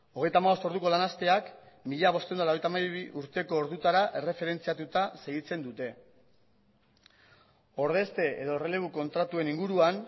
hogeita hamabost orduko lan asteak mila bostehun eta laurogeita hamabi urteko ordutara erreferentziatuta segitzen dute ordezte edo errelebu kontratuen inguruan